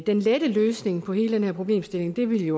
den lette løsning på hele den her problemstilling ville